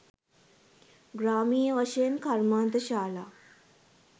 ග්‍රාමීය වශයෙන් කර්මාන්තශාලා